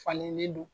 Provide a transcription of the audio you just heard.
Falenlen don